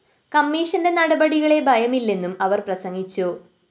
കമ്മീഷന്റെ നടപടികളെ ഭയമില്ലെന്നും അവര്‍ പ്രസംഗിച്ചു